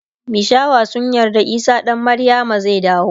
mishawa sun yarda isah dan maryama zai dawo